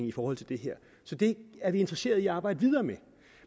i forhold til det her så det er vi interesseret i at arbejde videre med